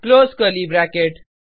close curly bracket